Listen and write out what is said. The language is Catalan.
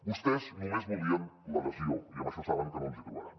vostès només volien l’adhesió i en això saben que no ens hi trobaran